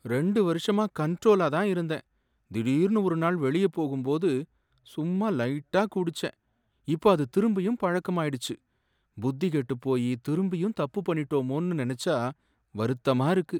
ரெண்டு வருஷமா கண்ட்ரோலா தான் இருந்தேன். திடீர்னு ஒரு நாள் வெளிய போகும்போது சும்மா லைட்டா குடிச்சேன். இப்ப அது திரும்பியும் பழக்கம் ஆயிடுச்சு. புத்தி கெட்டுப் போயி திரும்பியும் தப்பு பண்ணிட்டோமேன்னு நினைச்சா வருத்தமா இருக்கு.